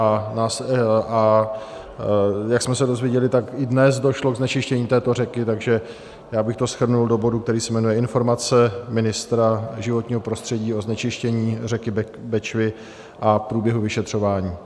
A jak jsme se dozvěděli, tak i dnes došlo k znečištění této řeky, takže já bych to shrnul do bodu, který se jmenuje Informace ministra životního prostředí o znečištění řeky Bečvy a průběhu vyšetřování.